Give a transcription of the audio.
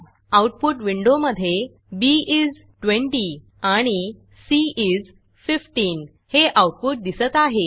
output विंडोमधे B is 20 आणि C is 15 हे आऊटपुट दिसत आहे